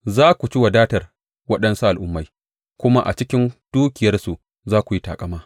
Za ku ci wadatar waɗansu al’ummai, kuma a cikin dukiyarsu za ku yi taƙama.